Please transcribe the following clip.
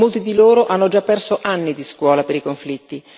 Molti di loro hanno già perso anni di scuola per i conflitti.